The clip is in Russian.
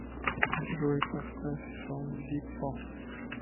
джой поставь сон зиппо